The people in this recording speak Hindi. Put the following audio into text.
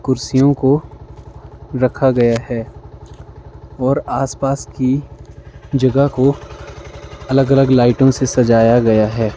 कुर्सियों को रखा गया है और आसपास की जगह को अलग-अलग लाइटों से सजाया गया है।